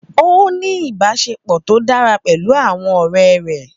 Ó ní ìbáṣepọ̀ tó dára pẹ̀lú àwọn ọ̀rẹ́ rẹ̀.